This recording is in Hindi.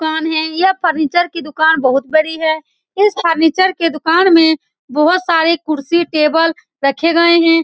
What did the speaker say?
कौन है यह फर्नीचर की दुकान बहुत बड़ी है इस फर्नीचर की दुकान में बहुत सारे कुर्सी टेबल रखे गए हैं।